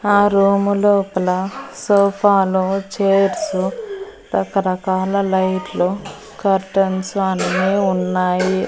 ఆ రూము లోపల సోఫాలు చేర్సు రకరకాల లైట్లు కర్టెన్స్ అన్నీ ఉన్నాయి.